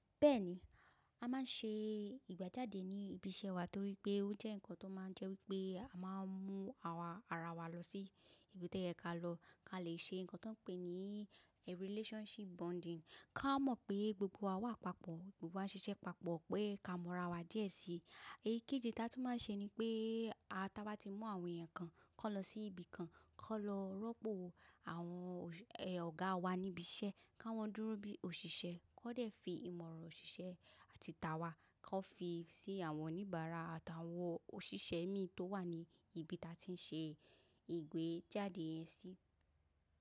Bẹ́ẹ̀ni, a máa ń ṣe ìgbéjáde ní ibi iṣẹ́ wa torí pé ó jẹ́ nǹkan tó máa ń jẹ́ wípé a máa ń mú àwọn ara wa lọ sí ibi tó yẹ kí a lọ, kí a lè ṣe nǹkan tó ń pè ní a relationship bonding, ká mọ̀ pé gbogbo wa wà papọ̀, gbogbo wa ń ṣiṣẹ́ papọ̀, pé ká mọ̀ ara wa díẹ̀ sí i. Èyí kejí tí a tún máa ń ṣe ni pé awa táa bá ti mú àwọn èèyàn kan kó lọ sí ibi kan, kó lọ rọ́pò àwọn Ọ̀gá wa níbi iṣẹ́, kí wọ́n dúró bí òṣìṣẹ́, kó dẹ̀ fi ìmọ̀ràn òṣìṣẹ́ àti tawa kó fi sí àwọn oníbàárà àtàwọn òṣìṣẹ́ mí tó wà ní ibi tí a ti ń ṣe ìgbéjáde yẹn sí.